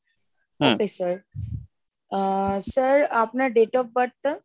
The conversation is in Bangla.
okay sir আহ sir আপনার date of birth টা?